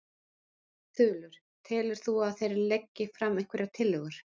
Þulur: Telur þú að þeir leggi fram einhverjar tillögur?